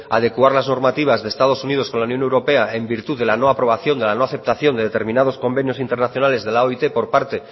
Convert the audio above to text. adecuar las normativas de estados unidos con la unión europea en virtud de la no aprobación de la no aceptación de determinados convenios internacionales de la oit por parte